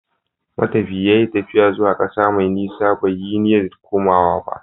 Matafiyi ya yi tafiya zuwa ƙasa mai nisa, bai yi niyyar komawa ba.